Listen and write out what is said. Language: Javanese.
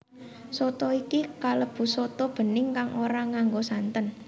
Soto iki kalebu soto bening kang ora nganggo santen